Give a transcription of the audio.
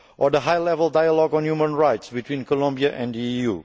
the high level dialogue on human rights between Colombia and the EU